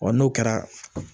Ɔ n'o kɛra